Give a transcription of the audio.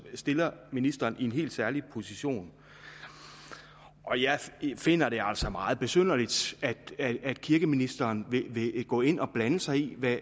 stiller ministeren i en helt særlig position og jeg finder det altså meget besynderligt at kirkeministeren vil gå ind og blande sig i